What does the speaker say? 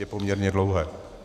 Je poměrně dlouhé.